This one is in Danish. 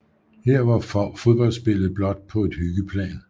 Her var fodboldspillet blot på et hyggeplan